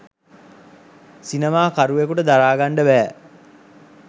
සිනමා කරුවෙකුට දරාගන්ඩ බෑ.